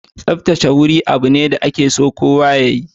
Tsaftace waje abu ne da ake so kowa ya yi.